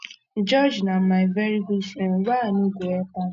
george na um my very good friend why i no go help am